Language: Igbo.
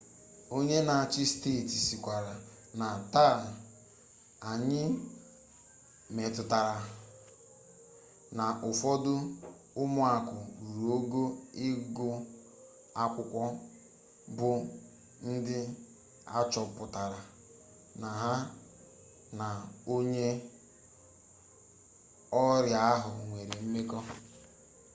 onye n'achị steeti sịkwara na taa anyị mụtara na ụfọdụ ụmụaka ruru ogo ịgụ akwụkwọ bụ ndị achọpụtara na ha na onye ọrịa ahụ nwere mmekọ